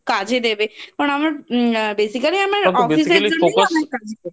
এত কাজে দেবে আমার Basically আমার Basically